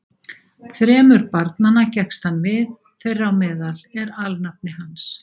Þremur barnanna gekkst hann við, þeirra á meðal er alnafni hans.